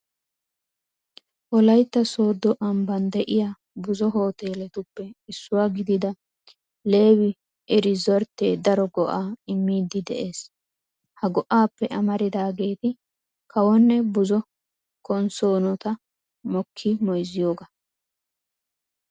Wolaytta sooddo ambban de'iya buzo hooteeletuppe issuwa gidida leewii iriizorttee daro go"aa immiiddi de'ees. Ha go"aappe amaridaageeti kawonne buzo konssoonota mokkidi moyssiyogaa.